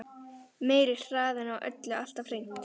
Meiri hraðinn á öllu alltaf hreint.